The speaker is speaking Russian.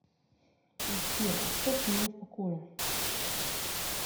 сбер оставь меня в покое